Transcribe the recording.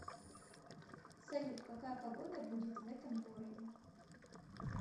салют какая погода будет в этом городе